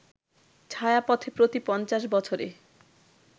ছায়াপথে প্রতি ৫০ বছরে